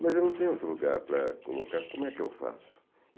Mas eu não tenho outro lugar para colocar, como é que eu faço?